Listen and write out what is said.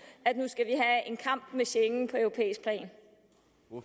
i schengen